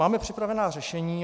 Máme připravená řešení.